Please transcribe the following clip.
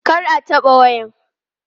Kar a taɓa waya!